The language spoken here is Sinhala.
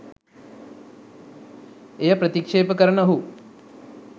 එය ප්‍රතික්ෂේප කරන ඔහු